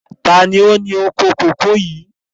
Taàní ó ní oko kòkó yìí?